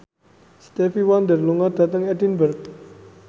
Stevie Wonder lunga dhateng Edinburgh